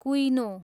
कुइनो